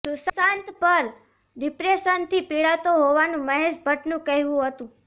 સુશાંત પર ડિપ્રેશનથી પીડાતો હોવાનું મહેશ ભટ્ટનું કહેવું હતું